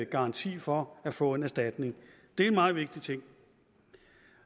garanti for at få en erstatning det er en meget vigtig ting